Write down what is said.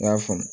N y'a faamu